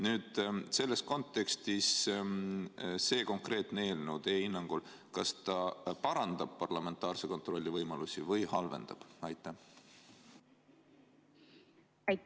Kas selles kontekstis see konkreetne eelnõu teie hinnangul parandab parlamentaarse kontrolli võimalusi või halvendab?